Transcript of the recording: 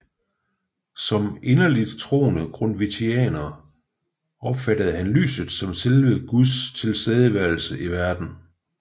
Som inderligt troende grundtvigianer opfattede han lyset som selve Guds tilstedeværelse i verden